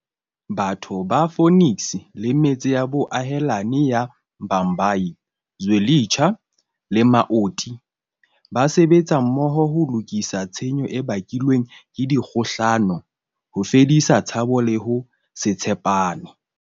Batho ba Phoenix le metse ya boahelani ya Bhambayi, Zwe litsha le Amaoti ba sebetsa mmoho ho lokisa tshenyo e bakilweng ke dikgohlano, ho fedisa tshabo le ho se tshe pane.